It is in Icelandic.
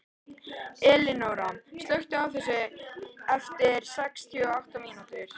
Elinóra, slökktu á þessu eftir sextíu og átta mínútur.